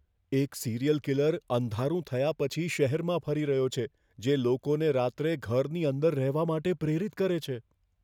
એક serial killer અંધારું થયા પછી શહેરમાં ફરી રહ્યો છે, જે લોકોને રાત્રે ઘરની અંદર રહેવા માટે પ્રેરિત કરે છે.